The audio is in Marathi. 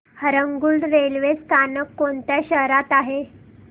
हरंगुळ रेल्वे स्थानक कोणत्या शहरात आहे